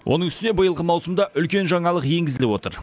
оның үстіне биылғы маусымда үлкен жаңалық енгізіліп отыр